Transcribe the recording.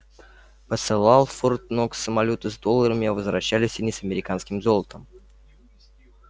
посылал в форт-нокс самолёты с долларами а возвращались они с американским золотом